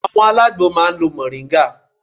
Àwọn alágbo máa ń lo Mọ̀ríngà